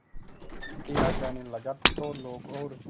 किया जाने लगा तो लोग और